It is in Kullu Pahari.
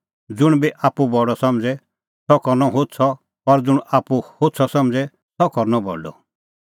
ज़ुंण बी आप्पू बडअ समझ़े सह करनअ होछ़अ और ज़ुंण आप्पू होछ़अ समझ़े सह करनअ बडअ